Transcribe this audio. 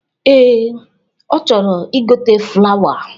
Ee, ọ chọrọ igote flawa